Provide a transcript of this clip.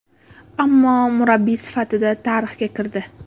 Ammo murabbiy sifatida tarixga kirdi.